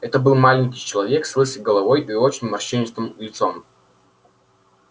это был маленький человек с лысой головой и очень морщинистым лицом